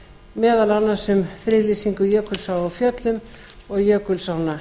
meðal annars um friðlýsingu jökulsár á fjöllum og jökulsánna